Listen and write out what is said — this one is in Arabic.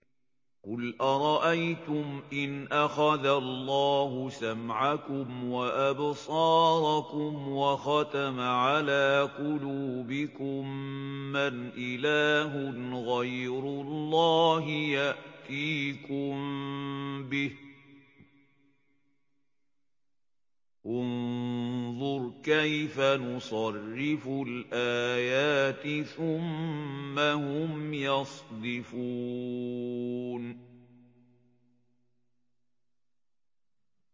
قُلْ أَرَأَيْتُمْ إِنْ أَخَذَ اللَّهُ سَمْعَكُمْ وَأَبْصَارَكُمْ وَخَتَمَ عَلَىٰ قُلُوبِكُم مَّنْ إِلَٰهٌ غَيْرُ اللَّهِ يَأْتِيكُم بِهِ ۗ انظُرْ كَيْفَ نُصَرِّفُ الْآيَاتِ ثُمَّ هُمْ يَصْدِفُونَ